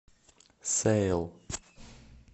сэйл